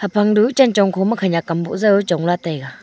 haphang du chang chong khoma khaniak gam uzao chongla taiga.